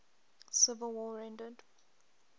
civil war rendered